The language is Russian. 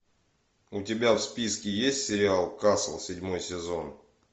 у тебя в списке есть сериал касл седьмой сезон